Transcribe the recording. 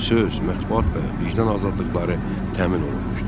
Söz, mətbuat və vicdan azadlıqları təmin olunmuşdu.